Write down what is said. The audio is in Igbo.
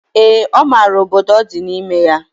Ee, ọ mara obodo ọ di n'ime ya.